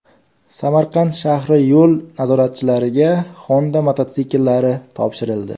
Samarqand shahri yo‘l nazoratchilariga Honda mototsikllari topshirildi.